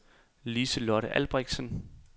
Lise-Lotte Albrechtsen